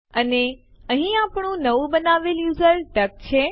અને અહીં આપણું નવું બનાવેલ યુઝર ડક છે